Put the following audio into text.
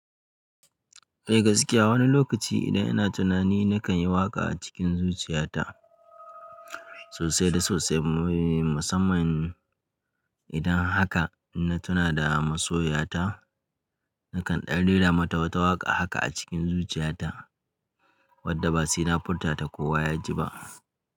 Eh gaskiya wani lokaci idan ina tunani nakan yi waƙa a cikin zuciyata sosai da sosai. Musamman idan haka inna tuna da masoyiya ta, nakan ɗan rera mata wata waƙa haka a cikin zuciyata wadda ba saina furta ta kowa ya ji ba.